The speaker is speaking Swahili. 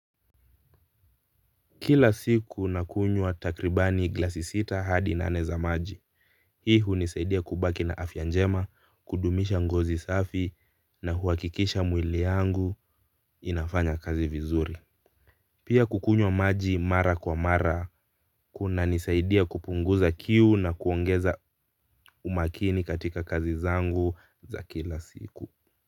Kila siku nakunywa takribani glasi sita hadi nane za maji. Hii hunisaidia kubaki na afya njema, kudumisha ngozi safi na huakikisha mwili yangu inafanya kazi vizuri. Pia kukunywa maji mara kwa mara kunanisaidia kupunguza kiu na kuongeza umakini katika kazi zangu za kila siku.